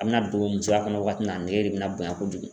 A bɛna don musoya kɔnɔ waati min na , a nege de bɛna bonya kojugu .